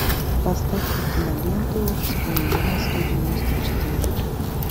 поставь ка киноленту вспоминая сто девяносто четыре